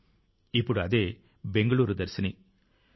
ఇప్పుడు బెంగుళూరు దర్శిని అనే పేరుతో ఆ విభాగం ప్రజలకు తెలుసు